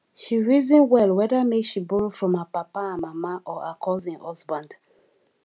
she reason well whether make she borrow from her papa and mama or her cousin husband